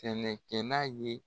Tɛnɛ kɛ n'a ye.